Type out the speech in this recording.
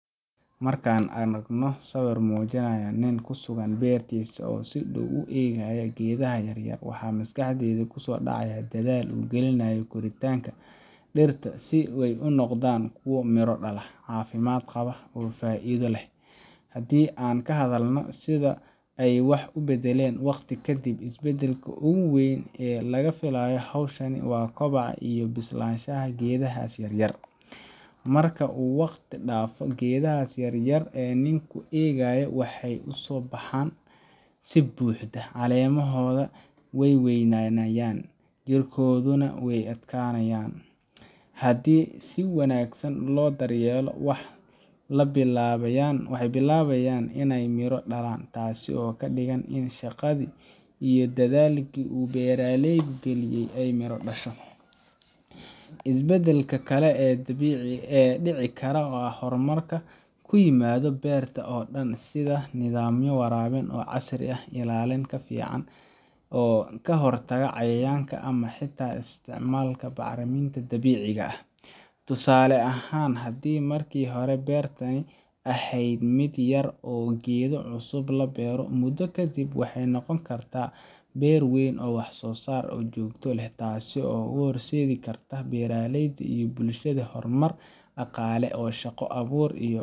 Marka aan aragno sawir muujinaya nin ku sugan beertiisa oo si dhow u eegaya geedaha yaryar, waxa maskaxda ku soo dhacaya dadaalka uu gelinayo korinta dhirtaas si ay u noqdaan kuwo miro dhala, caafimaad qaba, oo faa’iido u leh. Haddii aan ka hadalno sida ay wax u beddelaan waqti kadib, isbedelka ugu weyn ee laga filayo hawshan waa kobaca iyo bislaanshaha geedahaas yaryar. Markii uu waqtigu dhaafo, geedaha yaryar ee uu ninku eegayo waxay u baxaan si buuxda caleemahooda way weynaanayaan, jiriddooduna way adkaanayaan. Haddii si wanaagsan loo daryeelo, waxay bilaabayaan inay midho dhalaan, taas oo ka dhigan in shaqadii iyo dadaalkii uu beeralaygu geliyay ay miro dhasho. Isbedelka kale ee dhici kara waa horumar ku yimaada beerta oo dhan sida nidaamyo waraabin oo casri ah, ilaalin ka fiican oo ka hortagta cayayaanka, ama xitaa isticmaalka bacriminta dabiiciga ah. Tusaale ahaan, haddii markii hore beertani ahayd mid yar oo geedo cusub la beero, muddo kadib waxay noqon kartaa beer weyn oo wax-soo-saar joogto ah leh, taas oo u horseedi karta beeralayda iyo bulshadiisa horumar dhaqaale, shaqo abuur iyo